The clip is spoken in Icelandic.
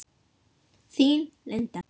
Þín, Linda.